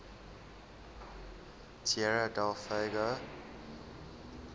tierra del fuego